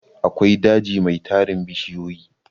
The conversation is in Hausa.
akwai daji Mai tarin bishiyoyi